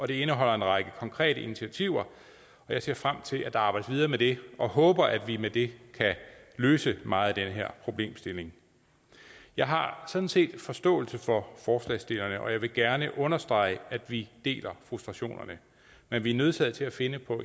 det indeholder en række konkrete initiativer og jeg ser frem til at der arbejdes videre med det og håber at vi med det kan løse meget af den her problemstilling jeg har sådan set forståelse for forslagsstillerne og jeg vil gerne understrege at vi deler frustrationerne men vi er nødsaget til at finde